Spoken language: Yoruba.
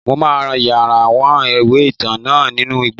Mo ma yaworan iwe-itan náá ninú igbó